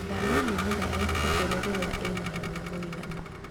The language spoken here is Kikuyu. Thamia mĩmera ya itũngũrũ rĩrĩa ĩnahinya mũiganu.